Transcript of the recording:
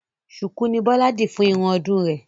Ṣùkú ni Bọ́lá dì fún irun ọdún rè